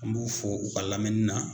An b'u fɔ u ka lamɛni na